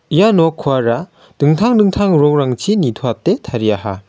ia nokkoara dingtang dingtang rongrangchi nitoate tariaha.